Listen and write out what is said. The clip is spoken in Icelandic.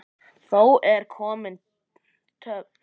Þá er komin töf.